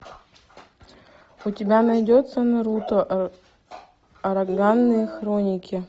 у тебя найдется наруто ураганные хроники